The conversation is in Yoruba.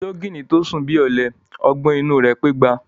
Ológìnní tó sùn bí ọ̀lẹ, ọgbọ́n inú u rẹ̀ pé igba.